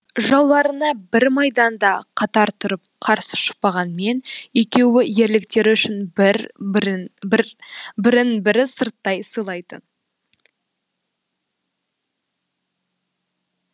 жауларына бір майданда катар тұрып қарсы шықпағанмен екеуі ерліктері үшін бірін бірі сырттай сыйлайтын